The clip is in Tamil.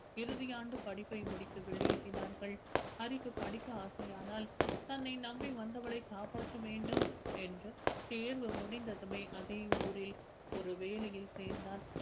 இறுதியாண்டு படிப்பை முடித்து வெளியேறினார்கள் ஹரிக்கு படிக்க ஆசையானால் தன்னை நம்பி வந்தவளை காப்பாற்ற வேண்டும் என்று தேர்வு முடிந்ததுமே அதே ஊரில் ஒரு வேலையில் சேர்ந்தான்